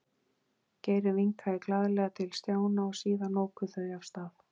Geir vinkaði glaðlega til Stjána og síðan óku þau af stað.